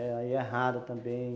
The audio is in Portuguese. Aí é raro também.